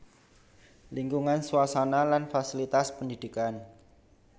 Lingkungan suasana lan fasilitas pendidikan